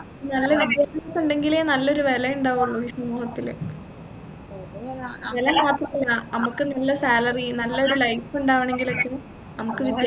നല്ല ഒരു വിദ്യാഭ്യാസം ഉണ്ടെങ്കിലേ നല്ലൊരു വില ഉണ്ടാവുള്ളു ഈ സമൂഹത്തില് വില മാത്രമല്ല നമ്മക്ക് നല്ല salary നല്ല ഒരു life ഉണ്ടാവണെങ്കിലൊക്കെ നമ്മക്ക് വിദ്യാഭ്യാസം